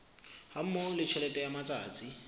hammoho le tjhelete ya matsatsi